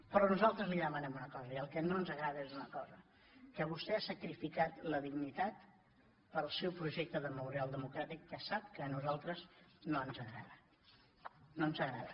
però nosaltres li demanem una cosa i el que no ens agrada és una cosa que vostè ha sacrificat la dignitat pel seu projecte de memorial democràtic que sap que a nosaltres no ens agrada no ens agrada